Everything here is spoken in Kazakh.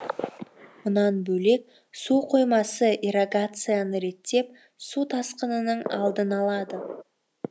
мұнан бөлек су қоймасы ирригацияны реттеп су тасқынының алдын алады